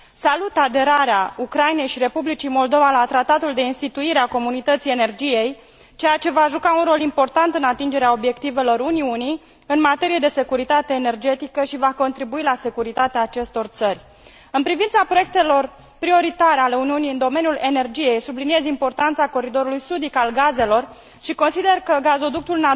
Salut aderarea Ucrainei și Republicii Moldova la Tratatul de instituire a Comunității Energiei, ceea ce va juca un rol important în atingerea obiectivelor Uniunii în materie de securitate energetică și va contribui la securitatea acestor țări În privința proiectelor prioritare ale Uniunii în domeniul energiei, subliniez importanța coridorului sudic al gazelor și consider că gazoductul